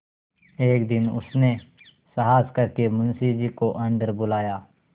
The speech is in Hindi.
एक दिन उसने साहस करके मुंशी जी को अन्दर बुलाया